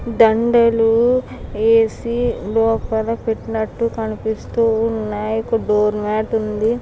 దండలు ఏసి లోపల పెట్టినట్టు కనిపిస్తూ ఉన్నాయి ఒక డోర్ మాట్ ఉంది.